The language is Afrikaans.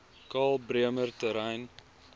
karl bremer terrein